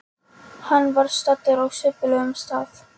Hann var staddur á subbulegum stað.